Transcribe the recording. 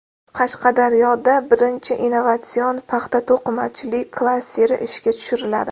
Qashqadaryoda birinchi innovatsion paxta-to‘qimachilik klasteri ishga tushiriladi.